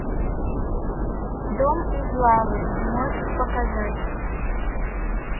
дом из лавы можешь показать